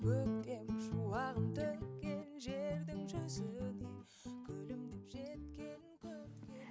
көктем шуағын төккен жердің жүзіне күлімдеп жеткен көркем